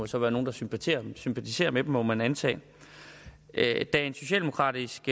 så være nogle der sympatiserer sympatiserer med dem må man antage da en socialdemokratisk